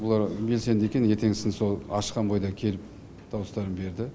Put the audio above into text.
олар белсенді екен ертеңгісін сол ашқан бойда келіп дауыстарын берді